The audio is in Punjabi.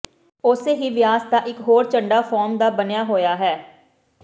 ਉਸੇ ਹੀ ਵਿਆਸ ਦਾ ਇਕ ਹੋਰ ਝੰਡਾ ਫ਼ੋਮ ਦਾ ਬਣਿਆ ਹੋਇਆ ਹੈ